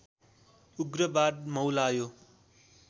उग्रवाद मौलायो